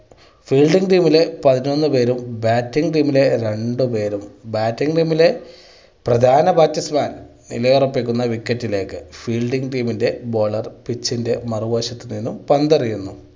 fielding team ലെ പതിനൊന്ന് പേരും batting team ലെ രണ്ട് പേരും batting team ലെ പ്രധാന batsman നിലയൊറപ്പിക്കുന്ന wicket ലേക്ക് fielding team ൻ്റെ bowler pitch ൻ്റെ മറുവശത്തിൽ നിന്ന് പന്ത് എറിയുന്നു.